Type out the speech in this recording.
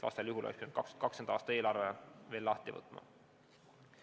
Vastasel juhul oleks pidanud 2020. aasta eelarve uuesti lahti võtma.